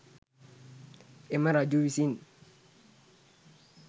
එම රජු විසින්